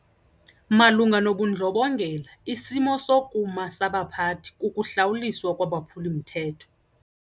Malunga nobundlobongela isimo sokuma sabaphathi kukuhlawuliswa kwabaphuli-mthetho.